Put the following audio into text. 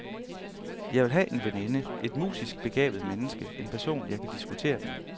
Jeg vil have en veninde, et musisk begavet menneske, en person jeg kan diskutere med.